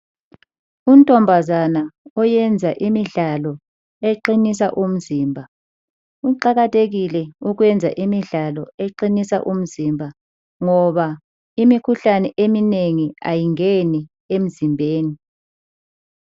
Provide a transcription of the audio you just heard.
Untombazana oyenza imidlalo eqinisa umzimba kuqakathekile ukwenza imidlalo eqinisa umzimba ngoba imikhuhlane eminengi ayingeni emzimbeni.